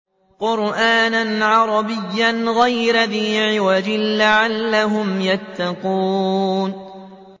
قُرْآنًا عَرَبِيًّا غَيْرَ ذِي عِوَجٍ لَّعَلَّهُمْ يَتَّقُونَ